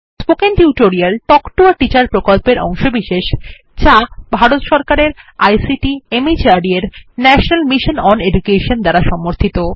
spoken tutorial talk to a teacher প্রকল্পের অংশবিশেষ যা ভারত সরকারের আইসিটি মাহর্দ এর ন্যাশনাল মিশন ওন এডুকেশন দ্বারা সমর্থিত